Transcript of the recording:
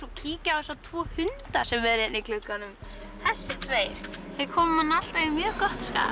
og kíki á þessa tvo hunda sem eru hérna í glugganum þessir tveir þeir koma manni alltaf í mjög gott skap